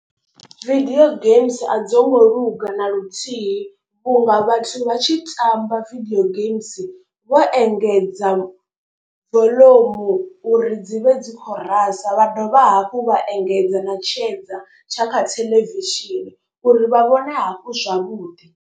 Video games a dzo ngo luga na luthihi vhunga vhathu vha tshi tamba video games vho engedza voḽomu uri dzi vhe dzi kho rasa. Vha dovha hafhu vha engedza na tshedza tsha kha theḽevishini uri vha vhone hafhu zwavhuḓi.